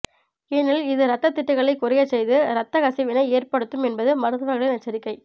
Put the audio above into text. ஏனெனில் இது ரத்தத்திட்டுகளை குறையச்செய்து ரத்தக்கசிவினை ஏற்படுத்தும் என்பது மருத்துவர்களின் எச்சரிக்கை